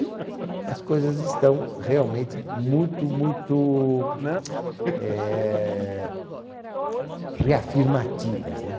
E as coisas estão realmente muito, muito, eh, reafirmativas, né?